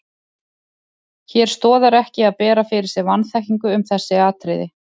Hér stoðar ekki að bera fyrir sig vanþekkingu um þessi atriði.